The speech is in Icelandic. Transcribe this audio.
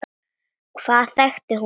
Hvaðan þekkti hún pabba?